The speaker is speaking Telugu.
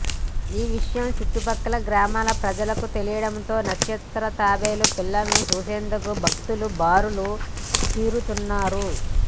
ఈ విషయం చుట్టుపక్కల గ్రామాల ప్రజలకు తెలియటం తో నక్షత్ర తాబేళ్ళ పిల్లలను చూసేందుకు భక్తులు బారులు తీరుతున్నారు